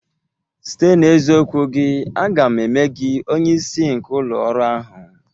Site n'eziokwu gị, aga m eme gị onye isi nke ụlọ ọrụ ahụ